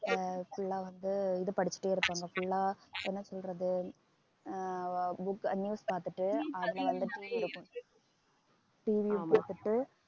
ஆஹ் full ஆ வந்து இது படிச்சுட்டே இருப்பாங்க full ஆ என்ன சொல்றது அஹ் அஹ் book news பார்த்துட்டு வந்துட்டு இருக்கும். TV